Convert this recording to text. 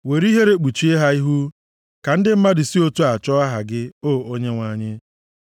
Were ihere kpuchie ha ihu, ka ndị mmadụ si otu a chọọ aha gị, O Onyenwe anyị.